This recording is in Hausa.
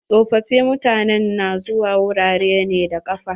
Tsofofin mutanen na zuwa wurare ne da ƙafa.